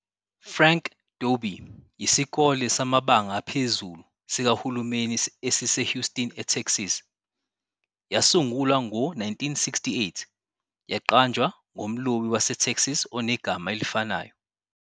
Frank Dobie yisikole samabanga aphezulu sikahulumeni esiseHouston, eTexas. Yasungulwa ngo-1968, yaqanjwa ngomlobi waseTexas onegama elifanayo.